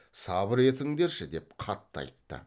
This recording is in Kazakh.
сабыр етіңдерші деп қатты айтты